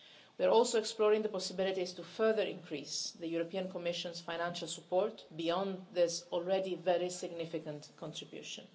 We are also exploring the possibility of further increasing the Commission's financial support beyond this already very significant contribution.